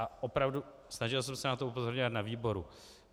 A opravdu, snažil jsem se na to upozorňovat na výboru.